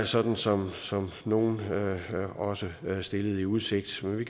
sådan som nogle også stillede i udsigt vi